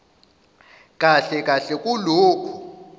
kahle kahle kulokho